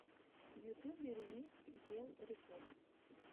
в ютубе ремикс дел рекордс